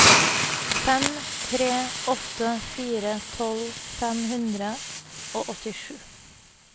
fem tre åtte fire tolv fem hundre og åttisju